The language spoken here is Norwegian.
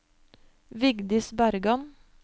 Vigdis Bergan